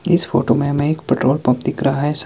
इस फोटो में हमें एक पैट्रोल पंप दिख रहा है।